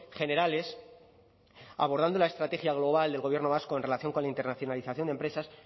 generales abordando la estrategia global del gobierno vasco en relación con la internacionalización de empresas